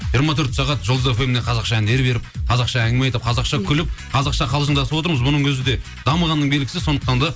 жиырма төрт сағат жұлдыз фміне қазақша әндер беріп қазақша әңгіме айтып қазақша күліп қазақша қалжыңдасып отырмыз бұның өзі де дамығанның белгісі сондықтан да